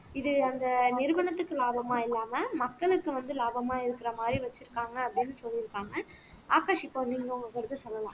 இது அந்த நிறுவனத்துக்கு லாபமா இல்லாம மக்களுக்கு வந்து லாபமா இருக்கிற மாதிரி வெச்சிருக்காங்க அப்படின்னு சொல்லிருக்காங்க ஆகாஷ் இப்போ நீங்க உங்க கருத்து சொல்லலாம்